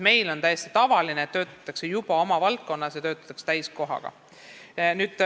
Meil on täiesti tavaline, et õpingute ajal töötatakse juba oma valdkonnas ja täiskohaga.